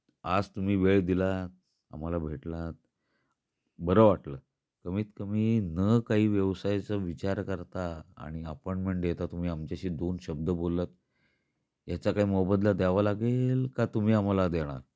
आज तुम्ही वेळ दिला, आम्हाला भेटलात बर वाटल. कमीत कमी न काही व्यवसायच विचार करता आणि अपॉईंटमेंट देता तुम्ही आमच्याशी दोन शब्द बोलत याचा काय मोबदला द्यावा लागेल कि तुम्ही आम्हाला देणार?